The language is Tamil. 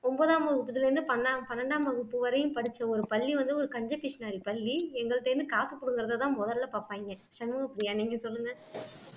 ஒன்பதாம் வகுப்புல இருந்து பன்பன்னிரண்டாம் வகுப்பு வரைக்கும் படிச்ச ஒரு பள்ளி வந்து ஒரு கஞ்ச பிஸ்னரி பள்ளி எங்கள்ட்ட இருந்து காசு புடுங்குறத தான் முதல்ல பாப்பாங்க சண்முகப்பிரியா நீங்க சொல்லுங்க